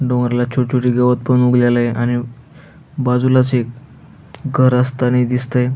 डोंगरला छोट छोट गवत पण उगलेलंय आणि बाजूलाच एक घर असतानी दिसतंय.